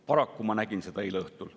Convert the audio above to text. Paraku nägin ma seda eile õhtul.